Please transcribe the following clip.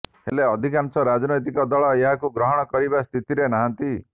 ହେଲେ ଅଧିକାଂଶ ରାଜନୈତିକ ଦଳ ଏହାକୁ ଗ୍ରହଣ କରିବା ସ୍ଥିତିରେ ନାହାନ୍ତି